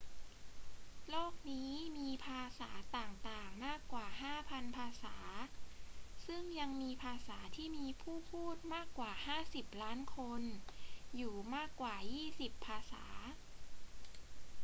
โลกนี้มีภาษาต่าง ๆ มากกว่า 5,000 ภาษา ซึ่งยังมีภาษาที่มีผู้พูดมากกว่า 50 ล้านคนอยู่มากกว่ายี่สิบภาษา